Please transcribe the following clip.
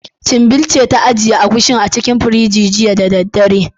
Chinbil ce ta ajiye Agushin a cikin firinji, jiya da daddare.